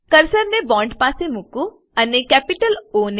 કર્સરને બોન્ડ પાસે મુકો અને કેપિટલ ઓ